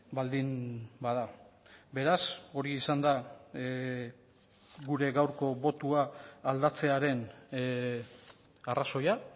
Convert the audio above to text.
baldin bada beraz hori izan da gure gaurko botoa aldatzearen arrazoia